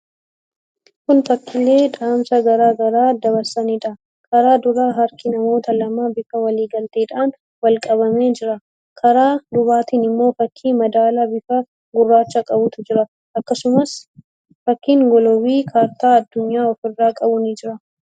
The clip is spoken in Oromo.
Kun fakkiilee dhaamsa garaa garaa dabarsaniidha. Karaa duraa harki namoota lamaa bifa waliigalteedhaan wal qabamee jira. Karaa dubaatiin immoo fakkii madaalaa bifa gurraacha qabutu jira. Akkasumas fakkiin giloobii kaartaa addunyaa ofirraa qabu ni jira.